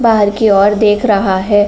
बाहर कि ओर देख रहा है।